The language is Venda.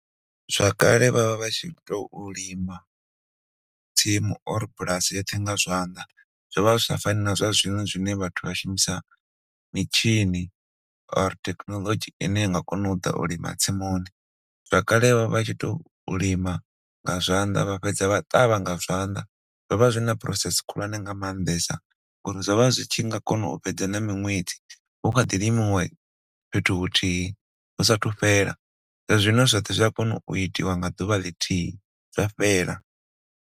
Zwa kale vhavha vha tshi tou lima tsimu or bulasi yoṱhe nga zwanḓa zwo vha sa fani na zwa zwino zwine vhathu vha shumisa mitshini or thekhinolodzhi ine inga kona uḓa u lima tsimuni. Vha kale vhavha vha tshi tou lima nga zwanḓa vha fhedza vha ṱavha nga zwanḓa zwo vha zwina process khulwane nga maanḓesa uri zwo vha zwi tshi nga kona u fhedza na miṅwedzi hu khaḓi limiwa fhethu huthihi hu sathu fhela zwa zwino zwoṱhe zwa kona itiwa nga ḓuvha lithihi.